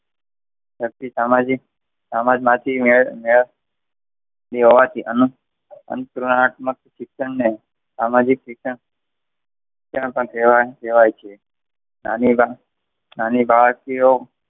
માંથી સામાજિક અને સમાજમાંથી મેળવવાથી શિક્ષણને સામાજિક રીતના લેવાય છે. નાની, નાની બાળકીઓ.